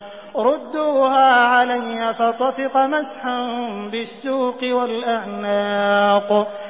رُدُّوهَا عَلَيَّ ۖ فَطَفِقَ مَسْحًا بِالسُّوقِ وَالْأَعْنَاقِ